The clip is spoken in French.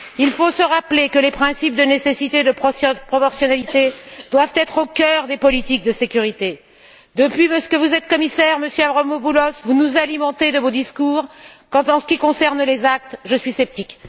Il faut se rappeler que les principes de nécessité et de proportionnalité doivent être au cœur des politiques de sécurité. Depuis que vous êtes commissaire, Monsieur Avramopoulos, vous nous alimentez de vos discours. Quant à ce qui concerne les actes, je suis sceptique!